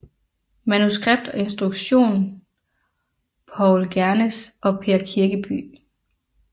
Manuskript og instruktion Paul Gernes og Per Kirkeby